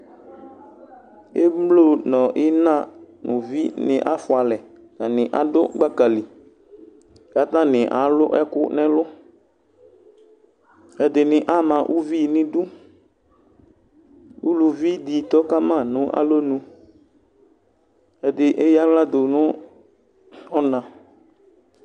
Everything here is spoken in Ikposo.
emlo no ina no uvi ni afua alɛ atani ado gbaka li kò atani alo ɛkò n'ɛlu ɛdini ama uvi n'idu uluvi di tɔ kama no alɔnu ɛdi eya ala do no ɔna